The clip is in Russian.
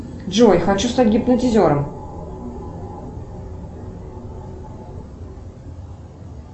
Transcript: джой хочу стать гипнотизером